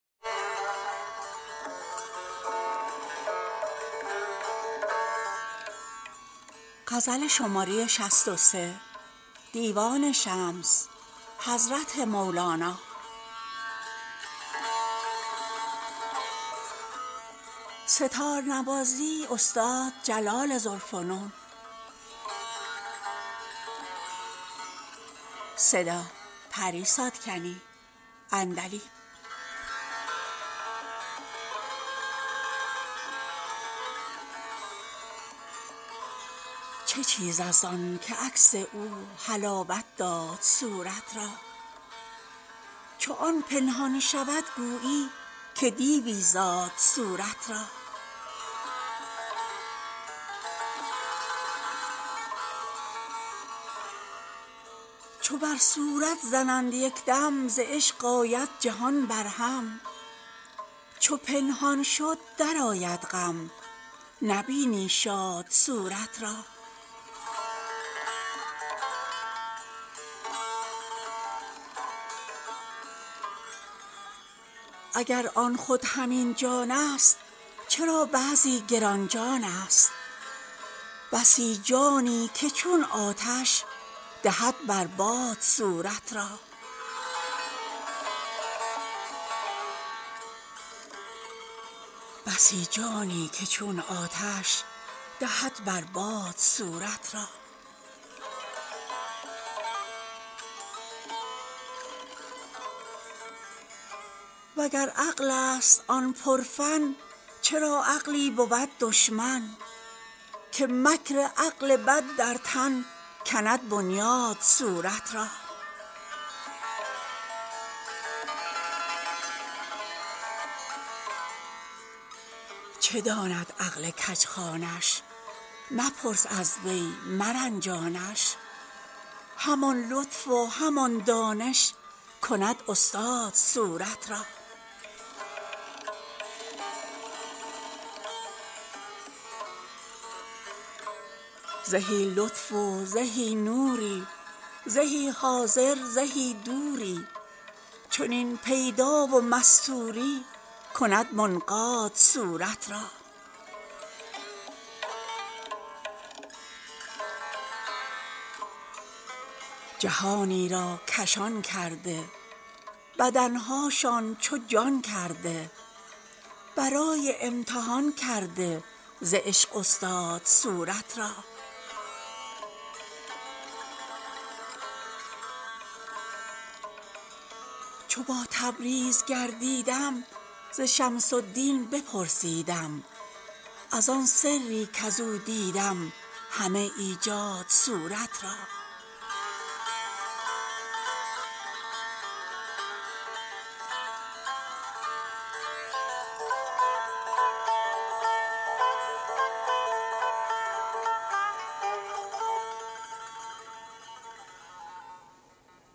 چه چیزست آنک عکس او حلاوت داد صورت را چو آن پنهان شود گویی که دیوی زاد صورت را چو بر صورت زند یک دم ز عشق آید جهان برهم چو پنهان شد درآید غم نبینی شاد صورت را اگر آن خود همین جانست چرا بعضی گران جانست بسی جانی که چون آتش دهد بر باد صورت را وگر عقلست آن پرفن چرا عقلی بود دشمن که مکر عقل بد در تن کند بنیاد صورت را چه داند عقل کژخوانش مپرس از وی مرنجانش همان لطف و همان دانش کند استاد صورت را زهی لطف و زهی نوری زهی حاضر زهی دوری چنین پیدا و مستوری کند منقاد صورت را جهانی را کشان کرده بدن هاشان چو جان کرده برای امتحان کرده ز عشق استاد صورت را چو با تبریز گردیدم ز شمس الدین بپرسیدم از آن سری کز او دیدم همه ایجاد صورت را